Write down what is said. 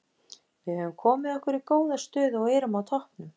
Við höfum komið okkur í góða stöðu og erum á toppnum.